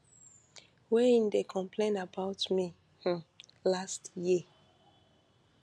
wey im dey complain about me um last year